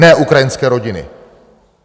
Ne ukrajinské rodiny.